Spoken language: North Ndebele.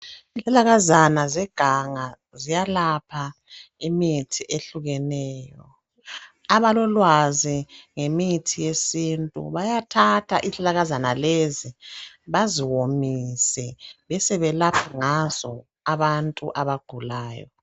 Yizihlahlakazana zeganga ziyalapha imikhuhlane ehlukeneyo. Abalolwazi ngemithi yesintu bayathatha izihlahlakazana lezi baziwomise besebelapha ngazo abantu abagulayo.